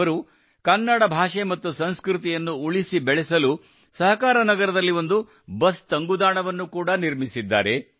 ಅವರು ಕನ್ನಡ ಭಾಷೆ ಮತ್ತು ಸಂಸ್ಕೃತಿಯನ್ನು ಉಳಿಸಿ ಬೆಳೆಸಲು ಸಹಕಾರನಗರದಲ್ಲಿ ಒಂದು ಬಸ್ ತಂಗುದಾಣವನ್ನು ಕೂಡಾ ನಿರ್ಮಿಸಿದ್ದಾರೆ